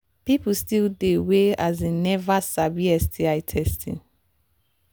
people still they we um never sabi sti testing